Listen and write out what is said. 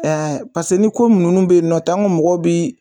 Ɛɛ pase ni ko nunnu be yen nɔ tan anw ga mɔgɔ bi